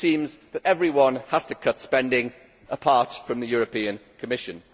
It seems that everyone has to cut spending, apart from the European Commission.